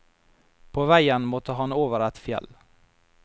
På veien måtte han over et fjell.